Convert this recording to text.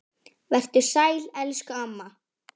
Vertu sæl elsku amma.